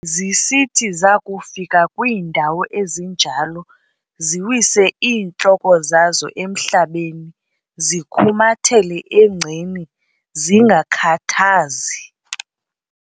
zisithi zakufika kwiindawo ezinjalo, ziwise iintloko zazo emhlabeni zikhumathele engceni zingakhathazi.